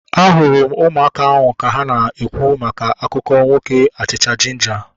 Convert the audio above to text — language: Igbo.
Ahụrụ m ụmụaka ahu ka ha na-ekwu maka akụkọ nwoke achịcha jinja